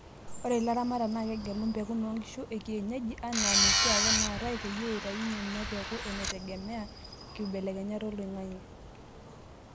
Ore ilaramatak naa kegelu mpekun oonkishu ekienyeji enaa noshiake naatae, peyie eitayunyie mepuku etegemea nkibelekenyat oloing'ang'e.